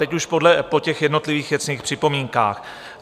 Teď už po těch jednotlivých věcných připomínkách.